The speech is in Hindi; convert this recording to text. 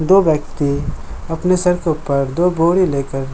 दो व्यक्ति अपने सर के ऊपर दो बोरी लेकर --